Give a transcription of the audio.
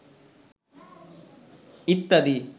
ইত্যাদি